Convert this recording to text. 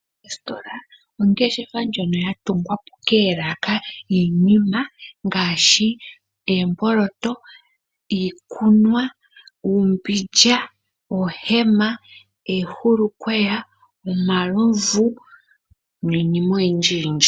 Ositola ongeshefa ndjono yatungwapo koolaka dhiinima ngaashi oomboloto, iikunwa , uumbindja , oohema, oohulukweya , omalovu niinima oyindjiyindji.